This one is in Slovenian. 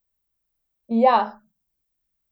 Ja!